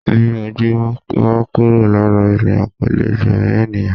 Bí ojú bá kúrò lára ènìyàn kò lè gbẹ̀mí ènìyàn